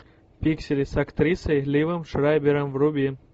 пиксели с актрисой ливом шрайбером вруби